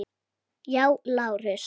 Já, Lárus!